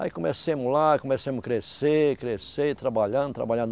Aí começamos lá, aí começamos crescer, crescer, e trabalhando, trabalhando.